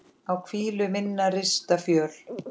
á hvílu minnar rista fjöl